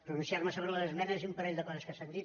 pronunciar·me so·bre les esmenes i un parell de coses que s’han dit